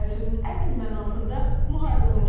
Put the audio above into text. Sözün əsl mənasında müharibə olacaq.